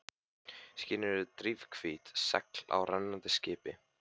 Skýin eru drifhvít segl á rennandi skipi.